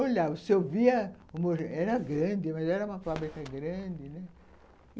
Olhava, se eu via era grande, mas era uma fábrica grande, né.